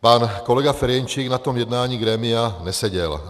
Pan kolega Ferjenčík na tom jednání grémia neseděl.